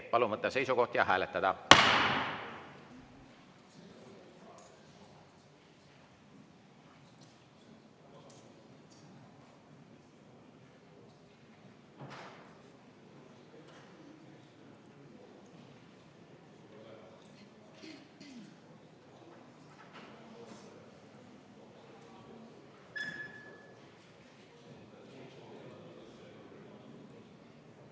Palun võtta seisukoht ja hääletada!